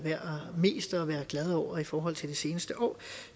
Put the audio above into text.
mest værd at være glad over i forhold til det seneste år